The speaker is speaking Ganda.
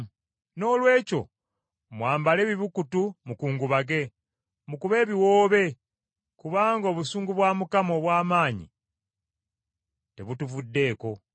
Noolwekyo mwambale ebibukutu mukungubage, mukube ebiwoobe kubanga obusungu bwa Mukama obw’amaanyi tebutuvuddeeko.